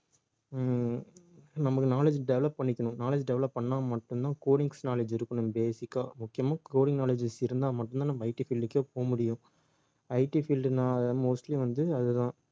உம் நமக்கு knowledge develop பண்ணிக்கணும் knowledge develop பண்ணா மட்டும்தான் codings knowledge இருக்கணும் basic ஆ முக்கியமா coding knowledge இருந்தா மட்டும்தான் நம்ம IT field க்கே போக முடியும் IT field ன்னா mostly வந்து அதுதான்